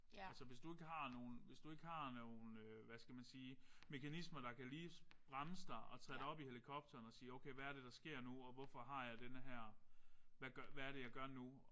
Altså hvis du ikke har nogen hvis du ikke har nogen hvad skal man sige mekanismer der kan lige bremse dig og tage dig op i helikopteren og sige okay hvad er det der sker nu og hvorfor har jeg denne her hvad gør hvad er det hvad er det jeg gør nu